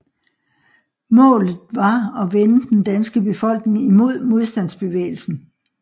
Målet var at vende den danske befolkning imod modstandsbevægelsen